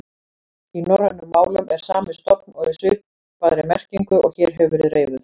Í norrænum málum er sami stofn og í svipaðri merkingu og hér hefur verið reifuð.